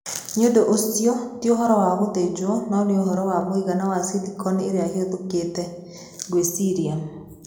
Nĩ ũndũ ũcio, ti ũhoro wa gũthĩnjwo no nĩ ũhoro wa mũigana wa silicon ĩrĩa ĩhũthĩkĩte, ngwĩciria.'